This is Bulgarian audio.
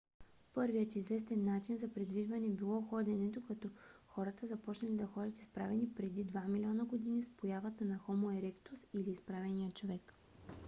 първият известен начин за придвижване било ходенето като хората започнали да ходят изправени преди два милиона години с появата на хомо еректус или изправения човек